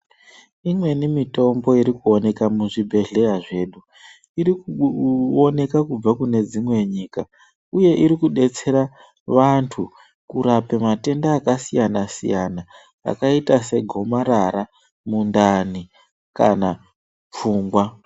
Imweni mitombo irikuoneka muzvibhedhleya zvedu irikuoneka kubva kune dzimwe nyika, uye irikubetsera vantu kurape matenda akasiyana-siyana, akaita segomarara, mundani kana pfungwa.